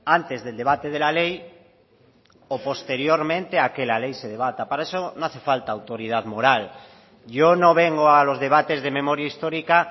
antes del debate de la ley o posteriormente a que la ley se debata para eso no hace falta autoridad moral yo no vengo a los debates de memoria histórica